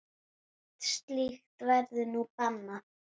Allt slíkt verður nú bannað.